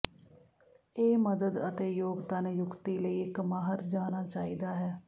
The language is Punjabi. ਇਹ ਮਦਦ ਅਤੇ ਯੋਗਤਾ ਨਿਯੁਕਤੀ ਲਈ ਇੱਕ ਮਾਹਰ ਜਾਣਾ ਚਾਹੀਦਾ ਹੈ